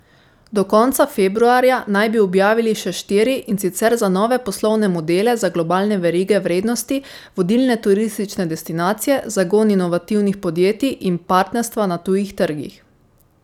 Do konca februarja naj bi objavili še štiri, in sicer za nove poslovne modele za globalne verige vrednosti, vodilne turistične destinacije, zagon inovativnih podjetij in partnerstva na tujih trgih.